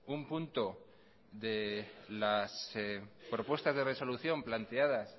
un punto de las propuestas de resolución planteadas